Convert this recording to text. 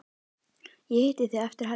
Ég hitti þig eftir helgi.